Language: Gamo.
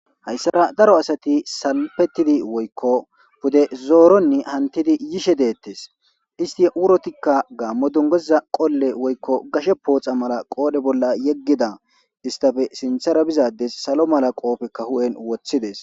Hayssara daro asati salpettidi woykko bude zooronni hantidi yishe deettes isti wurotikka gaammo dungoza qolle woykko gashe pooxa mala qoodhe bolla yeggida istafe sinthara bizades salo mala qoofekka hu'en woththides.